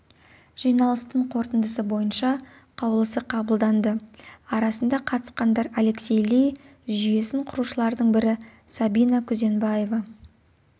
жиналыстың қорытындысы бойынша қаулысы қабылданды арасында қатысқандар алексей ли жүйесін құрушылардың бірі сабина күзенбаева